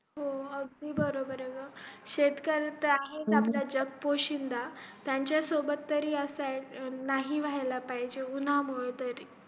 हो अगदी बरोबर अ ग शेतकरी तर आहेच आपला जग पोशिंदा त्यांच्या सोबत तरी असं नाही होयला पाहिजे उन्हा मुले तरी